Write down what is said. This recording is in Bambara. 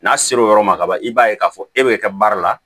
N'a ser'o yɔrɔ ma ka ban i b'a ye k'a fɔ e bɛ kɛ baara la